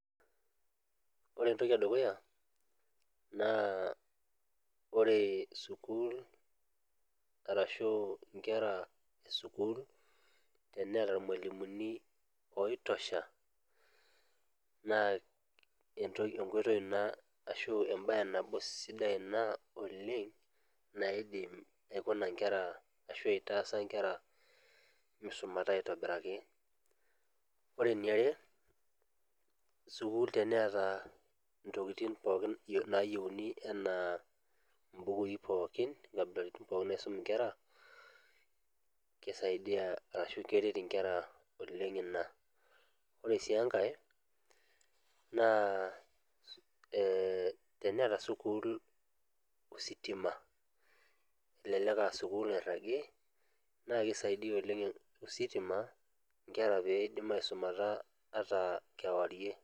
Ore entoki edukuya naa pre school ashuu inkera e school eneeta irmwalimuni oitosha naa enkoitoi ina ashuu embaye nabo sidai ina oleng naidim aikuna inkera ashua aitaasa inkera meisumata aitobiraki ore eniare school teneeta intokitin pookin naayieuni enaa imbukui pookin inkabilaritin pookin naisum inkera keisaidia ashuu keret inkera oleng ina ore sii enkae naa teneeta school ositima olelek aa school nairagi na keisidai ositima inkera peidim aisumata kewarie.